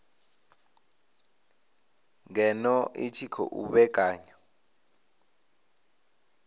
ngeno i tshi khou vhekanya